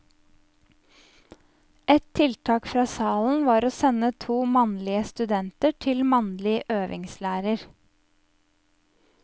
Et tiltak fra salen var å sende to mannlige studenter til mannlig øvingslærer.